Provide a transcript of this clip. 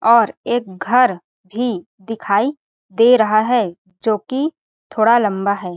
और एक घर भी दिखाई दे रहा है जोकि थोड़ा लम्बा हैं ।